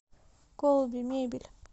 колби мебель